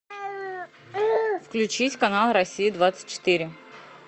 включить канал россия двадцать четыре